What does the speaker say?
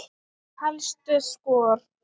Helstu skor